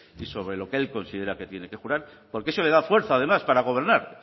y sobre lo que él considera que tiene que jurar porque eso le da fuerza además para gobernar